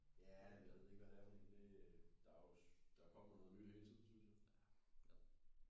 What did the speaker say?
Ja jeg ved ikke hvad det er for en det der er jo der kommer noget nyt hele tiden synes jeg